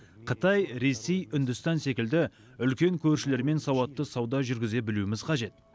қытай ресей үндістан секілді үлкен көршілермен сауатты сауда жүргізе білуіміз қажет